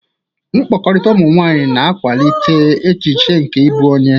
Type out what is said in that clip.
Mkpakọrịta ụmụ nwanyị na-akwalite echiche nke ịbụ onye.